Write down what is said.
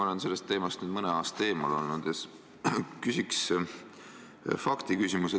Ma olen sellest teemast mõne aasta eemal olnud ja küsin faktiküsimuse.